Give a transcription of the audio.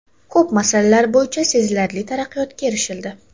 Ko‘p masalalar bo‘yicha sezilarli taraqqiyotga erishildi.